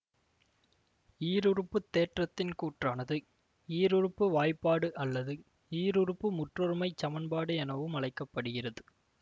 ஈருறுப்பு தேற்றத்தின் கூற்றானது ஈருறுப்பு வாய்ப்பாடு அல்லது ஈருறுப்பு முற்றொருமைச் சமன்பாடு எனவும் அழைக்க படுகிறது